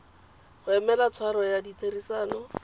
go emela tshwaro ya ditherisano